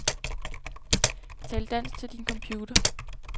Tal dansk til din computer.